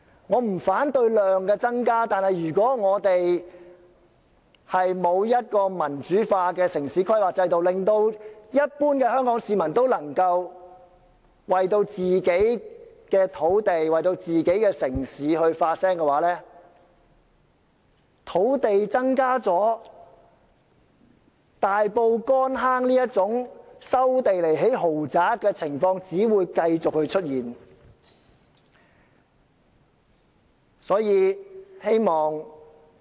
我不反對量的增加，但如果我們沒有民主化的城市規劃制度，使一般香港市民能為自己的土地及城市發聲的話，即使土地增加了，像大埔乾坑村這種收地以興建豪宅的情況只會繼續出現。